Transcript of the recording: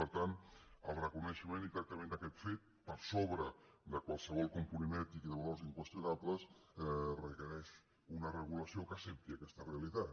per tant el reconeixement i tractament d’aquest fet per sobre de qualsevol component ètic i de valors inqüestionables requereix una regulació que accepti aquesta realitat